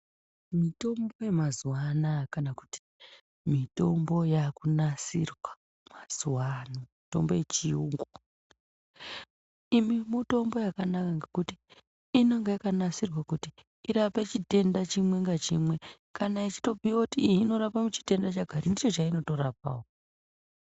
Mitombo yamazuva anaya kana kuti mitombo yakunasirwa mazuva ano mitombo yechiyungu. Imi mitombo yakanaka ngekuti inenge yakanasirwa kuti irape chitenda chimwe ngachimwe. Kana ichitopiva voti iyi inorapa chitenda chakati ndicho chainotorapavo.